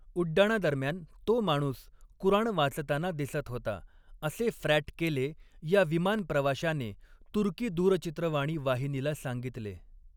उड्डाणादरम्यान तो माणूस कुराण वाचताना दिसत होता असे फ्रॅट केले या विमान प्रवाशाने तुर्की दूरचित्रवाणी वाहिनीला सांगितले.